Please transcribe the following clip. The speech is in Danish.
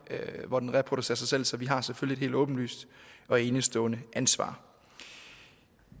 hvor den reproducerer sig selv så vi har selvfølgelig et helt åbenlyst og enestående ansvar